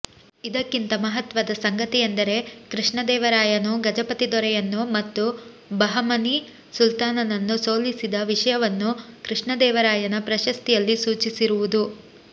ಇದಕ್ಕಿಂತ ಮಹತ್ವದ ಸಂಗತಿಯೆಂದರೆ ಕೃಷ್ಣದೇವರಾಯನು ಗಜಪತಿ ದೊರೆಯನ್ನು ಮತ್ತು ಬಹಮನಿ ಸುಲ್ತಾನನನ್ನು ಸೋಲಿಸಿದ ವಿಷಯವನ್ನು ಕೃಷ್ಣದೇವರಾಯನ ಪ್ರಶಸ್ತಿಯಲ್ಲಿ ಸೂಚಿಸಿರುವುದು